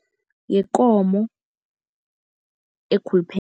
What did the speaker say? Yikomo